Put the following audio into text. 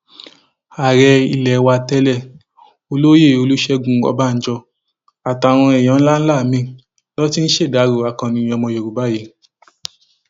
ààrẹ ilé wa tẹlẹ olóyè olùṣègùn ọbànjọ àtàwọn èèyàn ńlá ńlá míín ló ti ń ṣèdàrọ akọni ọmọ yorùbá yìí